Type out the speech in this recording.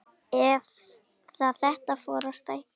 Eða þetta fór að stækka.